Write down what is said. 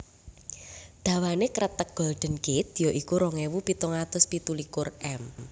Dawané Kreteg Golden Gate ya iku rong ewu pitung atus pitu likur m